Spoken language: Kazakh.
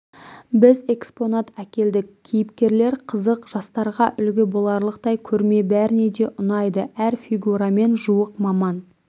біз экспонат әкелдік кейіпкерлер қызық жастарға үлгі боларлықтай көрме бәріне де ұнайды әр фигурамен жуық маман